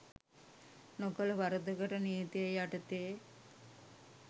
නොකළ වරදකට නීතිය යටතේ